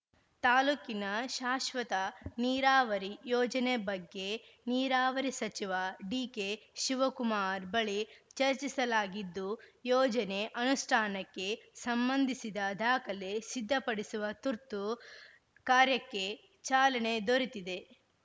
ತಾಲೂಕಿನ ಶಾಶ್ವತ ನೀರಾವರಿ ಯೋಜನೆ ಬಗ್ಗೆ ನೀರಾವರಿ ಸಚಿವ ಡಿಕೆ ಶಿವಕುಮಾರ್‌ ಬಳಿ ಚರ್ಚಿಸಲಾಗಿದ್ದು ಯೋಜನೆ ಅನುಷ್ಠಾನಕ್ಕೆ ಸಂಬಂಧಿಸಿದ ದಾಖಲೆ ಸಿದ್ಧಪಡಿಸುವ ತುರ್ತು ಕಾರ್ಯಕ್ಕೆ ಚಾಲನೆ ದೊರೆತಿದೆ